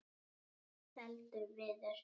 Allt seldur viður.